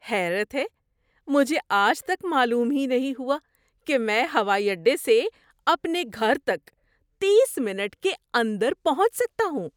حیرت ہے! مجھے آج تک معلوم ہی نہیں ہوا کہ میں ہوائی اڈے سے اپنے گھر تک تیس منٹ کے اندر پہنچ سکتا ہوں۔